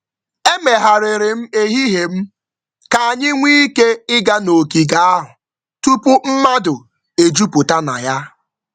Emegharịrị m ehihie m ka anyị nwee ike ịga n'ogige ahụ tupu mmadụ ejupụta na ya.